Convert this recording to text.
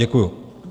Děkuji.